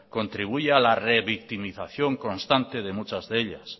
contribuye a la revictimización constante de muchas de ellas